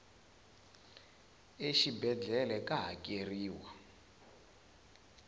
exibedlhele ka hakeriwa